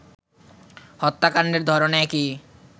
হত্যাকাণ্ডের ধরনও একই